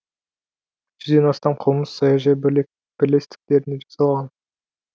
жүзден астам қылмыс саяжай бірлестіктерінде жасалған